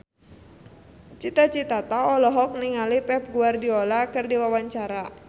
Cita Citata olohok ningali Pep Guardiola keur diwawancara